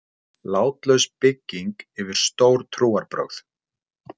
Látlaus bygging yfir stór trúarbrögð.